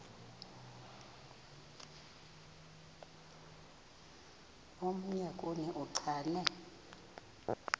omnye kuni uchane